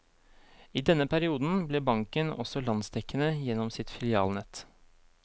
I denne perioden ble banken også landsdekkende gjennom sitt filialnett.